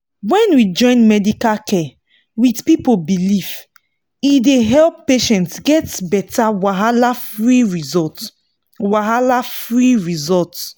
when we join medical care with people belief e dey help patients get better wahala-free result. wahala-free result.